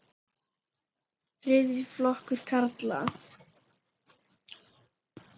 Þriðji flokkur karla.